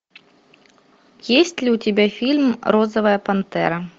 есть ли у тебя фильм розовая пантера